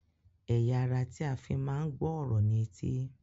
Ẹ̀ya ará tí a fí máa ń gbọ ọrọ ni etí